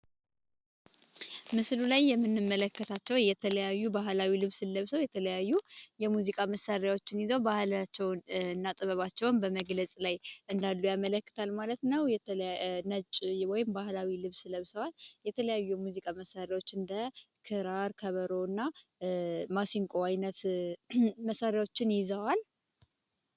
ምስሉ ላይ የምንመለከታቸው የተለያዩ ባህላዊ ልብስ ለብሶ የተለያዩ የሙዚቃ መሳሪያዎችን ይዘው ባህላቸውን ጥበባቸውን በመግለጽ ላይ እንዳሉ ያመለክታል ማለት ነው የተነጭ ወይም ባህላዊ ልብስ ለብሰዋል የተለያዩ ሙዚቃ መሳሪያዎች እንደ ክራር ከበሮና ማሲንቆ አይነት መሳሪያዎችን ይዘዋል